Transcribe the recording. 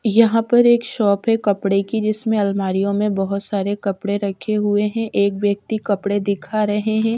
यहां पर एक शॉप है कपड़े की जिसमें अलमारियों में बहुत सारे कपड़े रखे हुए हैं एक व्यक्ति कपड़े दिखा रहे हैं।